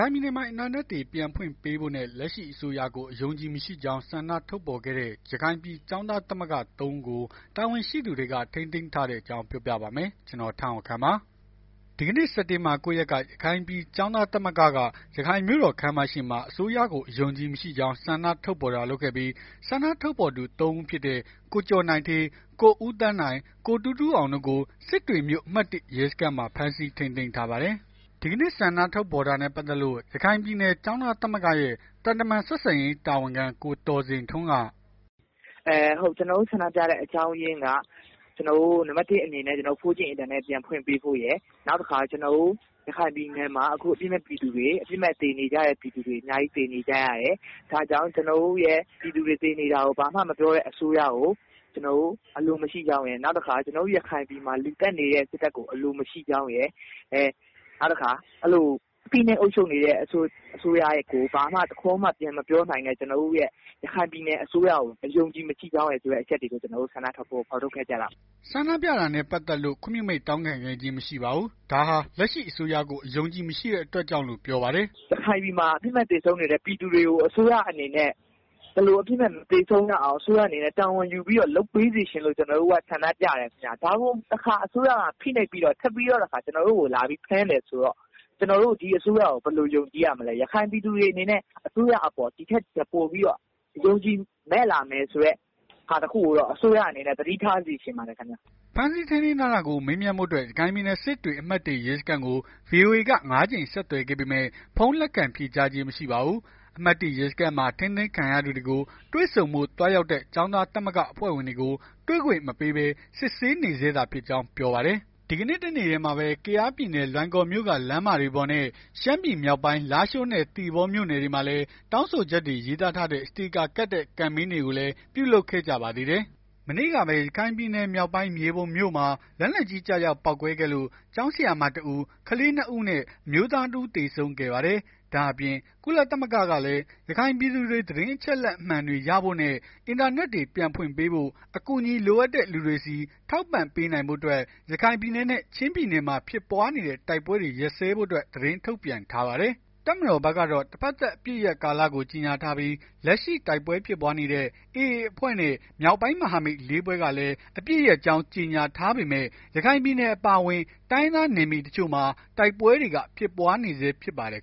ိုင်ပြည်နယ်မှာ အင်တာနက်တွေ ပြန်ဖွင့်ပေးဖို့နဲ့ လက်ရှိအစိုးရကို အယုံအကြည်မရှိကြောင်း ဆန္ဒထုတ်ဖော်ခဲ့တဲ့ ရခိုင်ပြည်ကျောင်းသားသမဂ္ဂ သုံး ဦးကို တာဝန်ရှိသူတွေက ထိန်းသိမ်းထားတဲ့အကြောင်းကို ဗွီအိုအေမြန်မာပိုင်းသတင်းထောက် ကိုထက်အောင်ခန့်က ပြောပြပါမယ်။ ဒီကနေ့ စက်တင်ဘာ ၉ ရက်က ရခိုင်ပြည်ကျောင်းသားသမဂ္ဂက ရခိုင်ပြည်မြို့တော်ခန်းမရှေ့မှာ အစိုးရကို အယုံအကြည်မရှိကြောင်း ဆန္ဒထုတ်ဖော်တာ လုပ်ခဲ့ပြီး ဆန္ဒထုတ်ဖော်သူ သုံး ဦးဖြစ်တဲ့ ကိုကျော်နိုင်ဌေး ကိုဦးသန်းနိုင်၊ ကိုတူးတူးအောင်တို့ကို စစ်တွေမြို့ အမှတ် ၁ ရဲစခန်းမှာ ဖမ်းဆီးထိန်းသိမ်းထားပါတယ်။ ဒီကနေ့ ဆန္ဒထုတ်ဖော်တာနဲ့ ပတ်သက်လို့ ရခိုင်ပြည်နယ် ကျောင်းသားသမဂ္ဂရဲ့ သံတမန်ဆက်ဆံရေး တာဝန်ခံ ကိုသော်ဇင်ထွန်းက... “ကျနော်တို့ ဆန္ဒပြတဲ့ အကြောင်းအရင်းက နံပတ် ၁ အနေနဲ့ 4G အင်တာနက် ပြန်ဖွင့်ပေးဖို့ရယ် နောက်တခါ ရခိုင်ပြည်နယ်မှာ အပြစ်မဲ့ပြည်သူ အပြစ်မဲ့ သေနေကြတဲ့ ပြည်သူတွေ အများကြီး သေနေကြရတယ်။ ဒါကြောင့် ကျနော်တို့ရဲ့ ပြည်သူတွေ သေနေတာကို ဘာမှမပြောတဲ့ အစိုးရကို ကျနော်တို့ အလိုမရှိကြောင်းရယ်။ နောက်တခါ ရခိုင်ပြည်နယ်မှာ လူသတ်နေတဲ့ စစ်တပ်ကို အလိုမရှိကြောင်းရယ် ဖိနှိပ်အုပ်ချုပ်နေတဲ့ အစိုးရကို ဘာမှတခွန်းမှ ပြန်မပြောနိုင်တဲ့ ကျနော်တို့ရဲ့ ရခိုင်ပြည်နယ် အစိုးရကို အယုံအကြည်မရှိကြောင်း အချက် တွေကို ဆန္ဒထုတ်ဖော်တာ ဖြစ်ပါတယ်။” ဆန္ဒပြတာနဲ့ ပတ်သက်လို့ ခွင့်ပြုမိန့်တောင်းခံခြင်း မရှိခဲ့ပါဘူး။ ဒါဟာ လက်ရှိအစိုးရကို အယုံအကြည်မရှိတဲ့အတွက်ကြောင့်လို့ ပြောပါတယ်။ “ရခိုင်ပြည်မှာ အပြစ်မဲ့သေဆုံးနေတဲ့ ပြည်သူတွေကို အစိုးရအနေနဲ့ ထပ်ပြီး မသေဆုံးရအောင် အစိုးရအနေနဲ့ တာဝန်ယူပြီး လုပ်ပေးစေချင်လို့ ကျနော်တို့က ဆန္ဒပြတယ်။ ဒါကိုအစိုးရကထပ်ပြီးတော့ ဖိနှိပ်ပြီးဖမ်းတယ်ဆိုတော့ ကျနော်တို့ ဒီအစိုးရကို ဘယ်လိုယုံကြည်ရမလဲ။ အစိုးရအပေါ် ဒီထက်ပိုပြီး အယုံကြည်မဲ့ လာမယ်ဆိုတဲ့ ဟာတခုကိုတော့ အစိုးရအနေနဲ့ သတိထားစေချင်ပါတယ်။” ဖမ်းဆီးထိန်းသိမ်းတာကို မေးမြန်းဖို့အတွက် ရခိုင်ပြည်နယ် စစ်တွေ အမှတ် ရဲစခန်းကို VOA က ကြိမ် ဆက်သွယ်ခဲ့ပေမဲ့ ဖုန်းလက်ခံဖြေကြားခြင်း မရှိပါဘူး။ အမှတ် ရဲစခန်းမှာ ထိန်းသိမ်းခံရသူတွေကို တွေ့ဆုံဖို့ သွားရောက်တဲ့ ကျောင်းသားသမဂ္ဂအဖွဲ့ဝင်တွေကို တွေ့ခွင့်မပေးဘဲ စစ်ဆေးနေဆဲသာဖြစ်ကြောင်း ပြောပါတယ်။ ဒီကနေ့ တနေ့တည်းမှာပဲ ကယားပြည်နယ် လွိုင်ကော်မြို့က လမ်းမတွေပေါ်နဲ့ ရှမ်းပြည်နယ် မြောက်ပိုင်းလားရှိုးနဲ့ သီပေါမြို့နယ်တွေမှာလည်းတောင်းဆိုချက်တွေ ရေးသားထားတဲ့ စတေကာကပ်တဲ့ ကမ်ပိန်းကိုလည်း ပြုလုပ်ခဲ့ကြပါသေးတယ်။ မနေ့ကပဲ ရခိုင်ပြည်နယ် မြောက်ပိုင်း မြေပုံမြို့မှာ လက်နက်ကြီး ကျရောက် ပေါက်ကွဲခဲ့လို့ ကျောင်းဆရာမ တဦး ကလေး ၂ ဦးနဲ့ အမျိုးသား ၁ ဦးသေဆုံးခဲ့ပါတယ်။ ဒါ့အပြင် ကုလသမဂ္ဂကလည်း ရခိုင်ပြည်သူတွေ သတင်းအချက်အလက်မှန်တွေ ရရှိဖို့အတွက် အင်တာနက်တွေ ပြန်ဖွင့်ပေးဖို့နဲ့ အကူညီလိုအပ်တဲ့ လူတွေဆီ ထောက်ပံ့ပေးနိုင်ဖို့အတွက် ရခိုင်ပြည်နယ်နဲ့ ချင်းပြည်နယ်မှာ ဖြစ်ပွားနေတဲ့ တိုက်ပွဲတွေ ရပ်ဆဲဖို့ သတင်းထုတ် ပြန်ထားပါတယ်။ တပ်မတော်ဘက်ကတော့ တဘက်သတ် အပစ်ရပ်ကာလကို ကြေငြာထားပြီး လက်ရှိ တိုက်ပွဲဖြစ်ပွားနေတဲ့ AA အဖွဲ့နဲ့ မြောက်ပိုင်း မဟာမိတ် ၄ ဖွဲ့ကလည်း အပစ်ရပ်ကြောင်း ကြေငြာထားပေမယ့် ရခိုင်ပြည်နယ် အပါအဝင် တိုင်းရင်းသား နယ်မြေတချို့မှာ တိုက်ပွဲတွေက ဖြစ်ပွားနေဆဲဖြစ်ပါတယ်